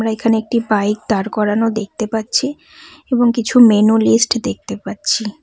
আমরা এখানে একটি বাইক দাঁড় করানো দেখতে পাচ্ছি এবং কিছু মেনু লিস্ট দেখতে পাচ্ছি।